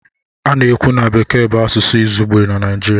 A na-ekwu na Bekee bụ asụsụ izugbe na Naịjirịa.